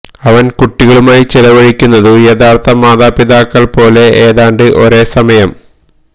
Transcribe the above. അവൻ കുട്ടികളുമായി ചെലവഴിക്കുന്നു യഥാർത്ഥ മാതാപിതാക്കൾ പോലെ ഏതാണ്ട് ഒരേ സമയം